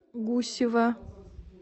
гусева